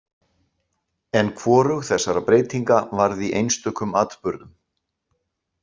En hvorug þessara breytinga varð í einstökum atburðum.